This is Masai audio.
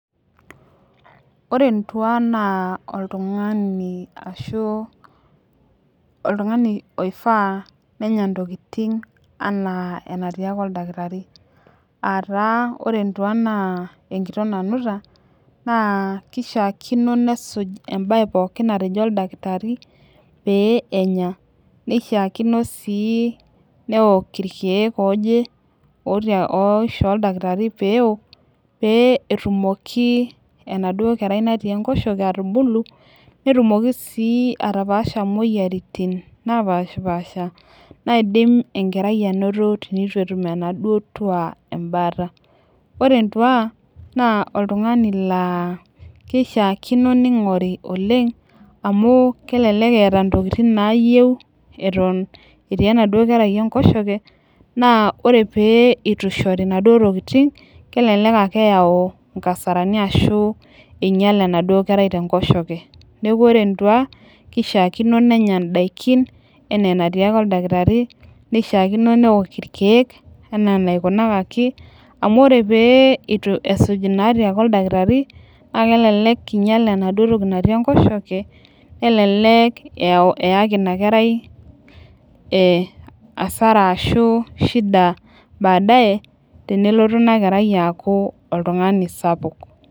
Ore entua naa oltung'ani ashu oltungani oifaa nenya intokiting anaa enatiaka oldakitari ataa ore entua naa enkitok nanuta naa kishakino nesuj embaye pookin natejo oldakitari pee enya neishiakino sii pee ewok irkeek ooje otia oishoo oldakitari pewok pee etumoki enaduo kerai natii enkoshoke atubulu netumoki sii atapaasha imoyiaritin napashi paasha naidim enkerai anoto tenitu etum enaduo tua embaata ore entua naa oltung'ani laa keishiakino ning'ori ooleng amu kelelek eeta intokitin naayieu eton etii enaduo kerai enkoshoke naa ore pee itu ishori inaduo tokiting kelelek ake eyau inkasarani ashu einyial enaduo kerai tenkoshoke neku ore entua kishiakino nenya indaikin enaa enatiaka oldakitari neishiakino newok irkeek enaa enaikunakaki amu ore pee itu esuj inatiaka oldakitari naa kelelek inyial enaduo toki natii enkoshoke nelelek eyau eyaki ina kerai eh asara ashu shida baadaye tenelotu ina kerai aaku oltung'ani sapuk.